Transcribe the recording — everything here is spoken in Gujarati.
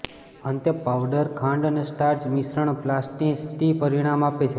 અંતે પાઉડર ખાંડ અને સ્ટાર્ચ મિશ્રણ પ્લાસ્ટિસિટી પરિણામ આપે છે